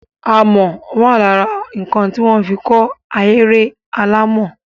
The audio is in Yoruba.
Amọ̀ wà lára nǹkan tí wọ́n fi kọ́ ahéré alàmọ̀.